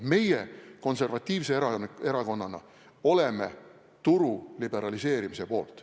Meie konservatiivse erakonnana oleme turu liberaliseerimise poolt.